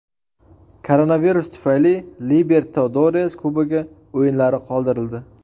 Koronavirus tufayli Libertadores Kubogi o‘yinlari qoldirildi.